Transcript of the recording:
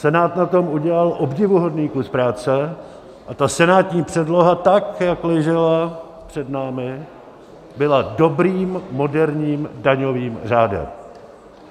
Senát na tom udělal obdivuhodný kus práce a ta senátní předloha, tak jak ležela před námi, byla dobrým moderním daňovým řádem.